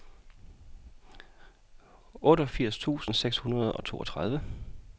otteogfirs tusind seks hundrede og toogtredive